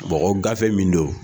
Mɔgɔ gafe min don